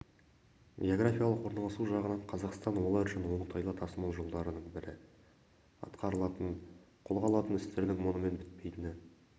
географиялық орналасуы жағынан қазақстан олар үшін оңтайлы тасымал жолдарының бірі атқарылатын қолға алатын істердің мұнымен бітпейтіні